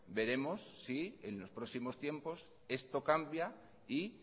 veremos si en los próximo tiempos esto cambia y